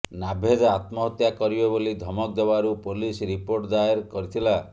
ନାଭେଦ ଆତ୍ମହତ୍ୟା କରିବେ ବୋଲି ଧମକ ଦେବାରୁ ପୋଲିସ ରିପୋର୍ଟ ଦାୟେର କରିଥିଲା